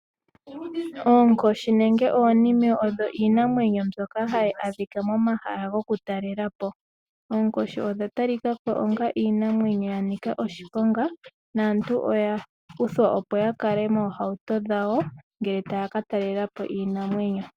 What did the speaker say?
Oonkoshi nenge oonime odho iinamwenyo mbyoka hayi adhika momahala gokutalela po. Oonkoshi odha talika ko onga iinamwenyo ya nika oshiponga naantu oya uthwa opo ya kale moohauto dhawo ngele taya ka talela po iinamwenyo.